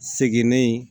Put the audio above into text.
Seginnen